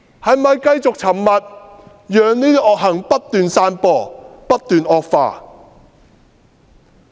是否繼續沉默，讓惡行不斷散播和惡化？